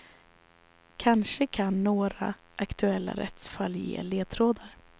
Kanske kan några aktuella rättsfall ge ledtrådar.